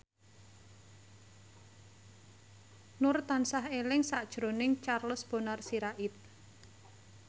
Nur tansah eling sakjroning Charles Bonar Sirait